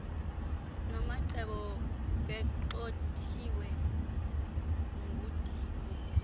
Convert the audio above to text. nomacebo begxothiwe ngudiko